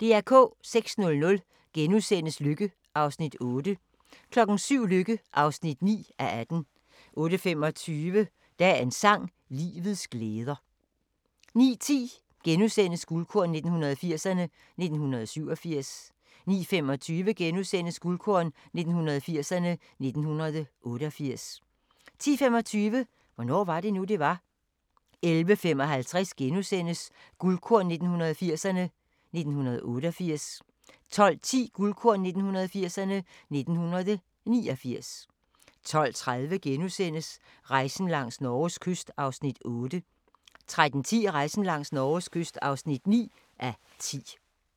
06:00: Lykke (8:18)* 07:00: Lykke (9:18) 08:25: Dagens sang: Livets glæder 09:10: Guldkorn 1980'erne: 1987 * 09:25: Guldkorn 1980'erne: 1988 * 10:25: Hvornår var det nu, det var? 11:55: Guldkorn 1980'erne: 1988 * 12:10: Guldkorn 1980'erne: 1989 12:30: Rejsen langs Norges kyst (8:10)* 13:10: Rejsen langs Norges kyst (9:10)